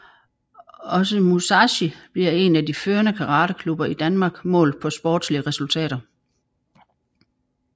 Også Musashi bliver en af de førende karateklubber i Danmark målt på sportslige resultater